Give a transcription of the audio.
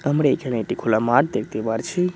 আমরা এখানে একটি খোলা মাঠ দেখতে পারছি।